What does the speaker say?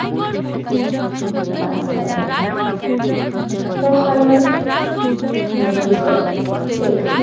কাজে লাগে কোলাহল মেডিকেল টেট